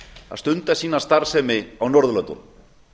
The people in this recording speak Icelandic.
að stunda sína starfsemi á norðurlöndunum